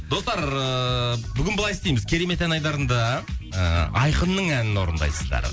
достар ыыы бүгін былай істейміз керемет ән айдарында ыыы айқынның әнін орындайсыздар